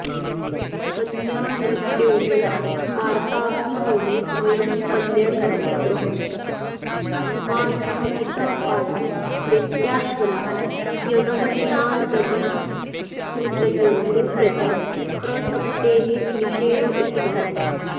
कन्यायुवत्योः स्मार्ताग्निहोमे स्वयं पल्यणि क पुत्रः कुमार्थन्तवासी वेत्याश्वलायनवचनादधिकृतयोरप्रति प्रसक्तेर्निषेध उक्तः